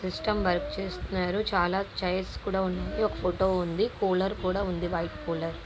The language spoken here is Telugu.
సిస్టం వర్క్ చేస్తున్నారు.చాల చైర్స్ ఉంది. ఒక్క ఫోటో ఉంది.కూలర్ కూడా ఉంది. White cooler .